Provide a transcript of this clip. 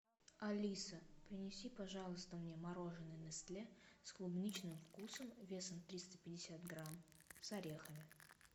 алиса принеси пожалуйста мне мороженое нестле с клубничным вкусом весом триста пятьдесят грамм с орехами